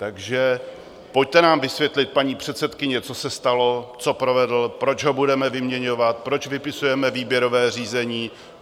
Takže pojďte nám vysvětlit, paní předsedkyně, co se stalo, co provedl, proč ho budeme vyměňovat, proč vypisujeme výběrové řízení.